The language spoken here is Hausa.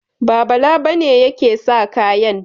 Ba, Bala ba ne yake sa kayan.